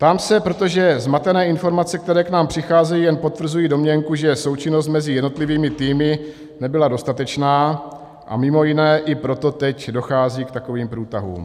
Ptám se, protože zmatené informace, které k nám přicházejí, jen potvrzují domněnku, že součinnost mezi jednotlivými týmy nebyla dostatečná, a mimo jiné i proto teď dochází k takovým průtahům.